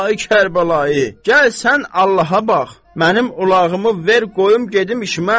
Ay Kərbəlayı, gəl sən Allaha bax, mənim ulağımı ver qoyum gedim işimə.